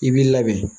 I b'i labɛn